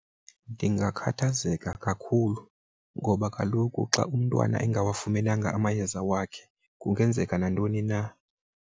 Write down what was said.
Ndingakhathazeka kakhulu ngoba kaloku xa umntwana engawafumenanga amayeza wakhe kungenzeka nantoni na.